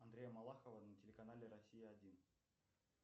андрея малахова на телеканале россия один